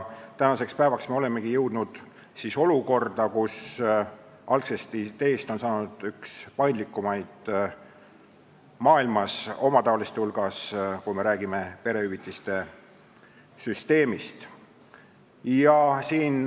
Tänaseks päevaks olemegi jõudnud olukorda, kus algsest ideest on saanud omataoliste hulgas üks paindlikumaid maailmas, kui me räägime perehüvitiste süsteemist.